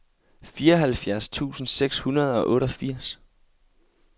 fireoghalvfjerds tusind seks hundrede og otteogfirs